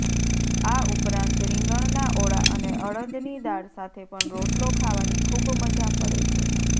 આ ઉપરાંત રીંગણના ઓળા અને અડદની દાળ સાથે પણ રોટલો ખાવાની ખૂબ મજા પડે છે